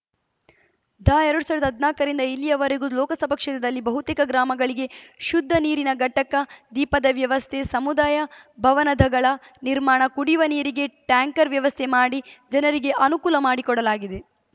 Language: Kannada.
ದ ಎರಡ್ ಸಾವಿರದ ಹದ್ನಾಕರಿಂದ ಇಲ್ಲಿಯವರೆಗೂ ಲೋಕಸಭಾ ಕ್ಷೇತ್ರದಲ್ಲಿ ಬಹುತೇಕ ಗ್ರಾಮಗಳಿಗೆ ಶುದ್ಧ ನೀರಿನ ಘಟಕ ದೀಪದ ವ್ಯವಸ್ಥೆ ಸಮುದಾಯ ಭವನದಗಳ ನಿರ್ಮಾಣ ಕುಡಿಯುವ ನೀರಿಗೆ ಟ್ಯಾಂಕರ್‌ ವ್ಯವಸ್ಥೆ ಮಾಡಿ ಜನರಿಗೆ ಅನುಕೂಲ ಮಾಡಿಕೊಡಲಾಗಿದೆ